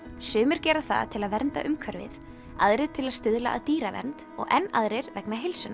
sumir gera það til að vernda umhverfið aðrir til að stuðla að dýravernd og enn aðrir vegna heilsunnar